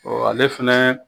ale fɛnɛ